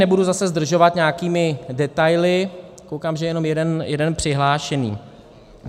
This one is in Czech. Nebudu zase zdržovat nějakými detaily, koukám, že je jenom jeden přihlášený.